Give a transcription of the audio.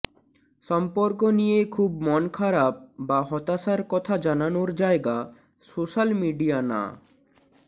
সম্পর্ক নিয়ে খুব মন খারাপ বা হতাশার কথা জানানোর জায়গা সোশাল মিডিয়া না